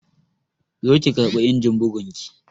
Zo ki karɓi injin bugun ki!